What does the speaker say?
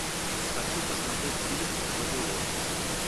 хочу посмотреть фильм вавилон